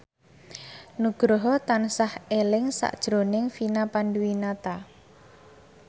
Nugroho tansah eling sakjroning Vina Panduwinata